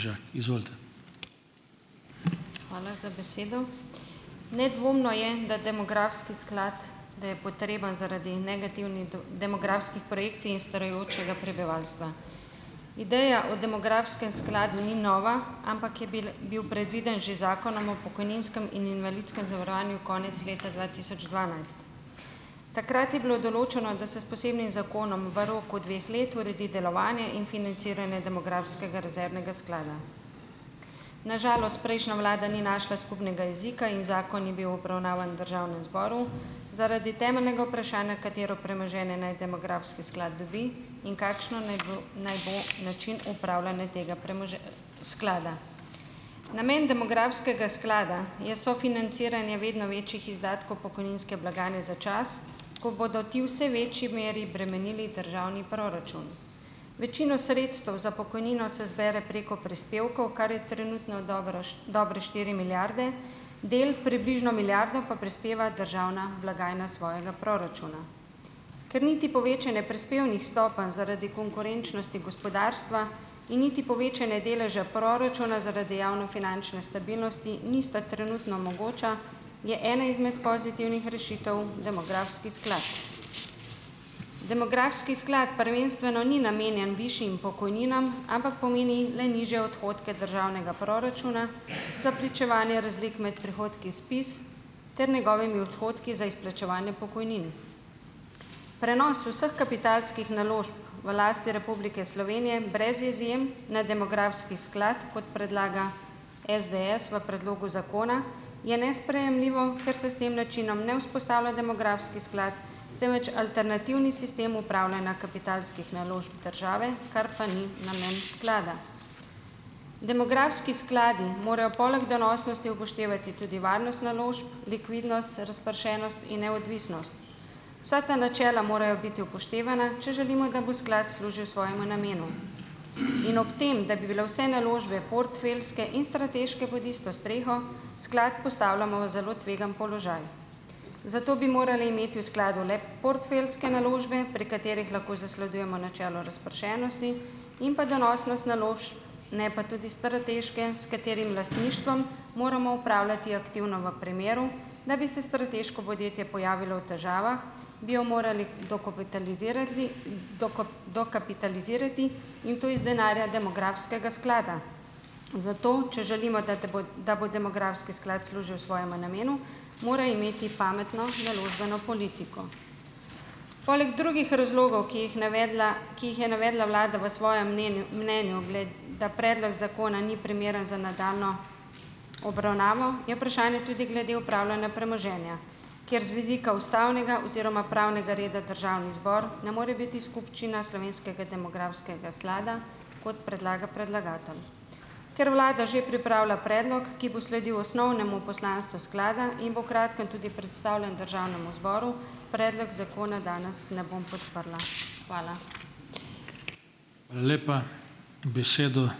Hvala za besedo! Nedvomno je, da demografski sklad, da je potreben zaradi negativnih demografskih projekcij in starajočega prebivalstva. Ideja o demografskem skladu ni nova, ampak je bil bil predviden že z Zakonom o pokojninskem in invalidskem zavarovanju konec leta dva tisoč dvanajst. Takrat je bilo določeno, da se s posebnim zakonom v roku dveh let uredi delovanje in financiranje demografskega rezervnega sklada. Na žalost prejšnja vlada ni našla skupnega jezika in zakon je bil obravnavan v državnem zboru, zaradi temeljnega vprašanja, katero premoženje naj demografski sklad dobi in kakšen naj naj bo način upravljanja tega sklada. Namen demografskega sklada je sofinanciranje vedno več izdatkov pokojninske blagajne za čas, ko bodo ti vse večji meri bremenili državni proračun. Večino sredstev za pokojnino se zbere preko prispevkov, kar je trenutno dobra dobre štiri milijarde, del - približno milijardo - pa prispeva državna blagajna iz svojega proračuna. Ker niti povečanje prispevnih stopenj zaradi konkurenčnosti gospodarstva in niti povečanje deleža proračuna zaradi javnofinančne stabilnosti nista trenutno mogoča, je ena izmed pozitivnih rešitev demografski sklad. Demografski sklad prvenstveno ni namenjen višjim pokojninam, ampak pomeni le nižje odhodke državnega proračuna za pričevanje razlik med prihodki SPIZ ter njegovimi odhodki za izplačevanje pokojnin. Prenos vseh kapitalskih naložb v lasti Republike Slovenije brez izjem na demografski sklad, kot predlaga SDS v predlogu zakona, je nesprejemljivo, ker se s tem načinom ne vzpostavlja demografski sklad, temveč alternativni sistem upravljanja kapitalskih naložb države, kar pa ni namen sklada. Demografski skladi morajo poleg donosnosti upoštevati tudi varnost naložb, likvidnost, razpršenost in neodvisnost. Vsa ta načela morajo biti upoštevana, če želimo, da bo sklad služil svojemu namenu. In ob tem, da bi bile vse naložbe portfeljske in strateške pod isto streho, sklad postavljamo v zelo tvegan položaj. Zato bi morali imeti v skladu le portfeljske naložbe, pri katerih lahko zasledujemo načelo razpršenosti in pa donosnost naložb, ne pa tudi strateške, s katerih lastništvom moramo upravljati aktivno v primeru, da bi se strateško podjetje pojavilo v težavah, bi jo morali dokopitalizirati dokapitalizirati to iz denarja demografskega sklada. Zato če želimo, da bo da bo demografski sklad služil svojemu namenu, mora imeti pametno naložbeno politiko. Poleg drugih razlogov, ki jih navedla ki jih je navedla vlada v svojem mnenju da predlog zakona ni primeren za nadaljnjo obravnavo, je vprašanje tudi glede upravljanja premoženja, kjer z vidika ustavnega oziroma pravnega reda državni zbor ne more biti skupščina slovenskega demografskega slada, kot predlaga predlagatelj. Ker vlada že pripravlja predlog, ki bo sledil osnovnemu poslanstvu sklada in bo kratkem tudi predstavljen državnemu zboru, predlog zakona danes ne bom podprla. Hvala.